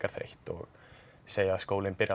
þreytt og segja að skólinn byrji